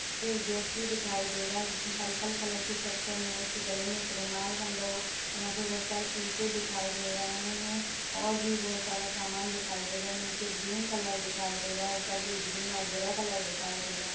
एक व्यक्ति दिखाई दे रहा है जिस ने पर्पल कलर की शर्ट पहनी हुई है उसके गले मे एक रुमाल बंधा हुवा-- यहा पर बहुत सारे पीपे दिखाई दे रहे है और भी बहुत सारा सामान दिखाई दे रहे-- नीचे ग्रीन कलर दिखाई दे रहा है ऊपर भी ग्रीन और ग्रे कलर दिखाई दे रहा --